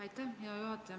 Aitäh, hea juhataja!